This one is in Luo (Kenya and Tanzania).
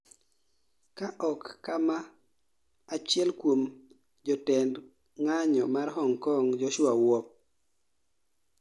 ka ok kama achiel kuom jotend ng'anyo mar Hong Kong, Joshua Wong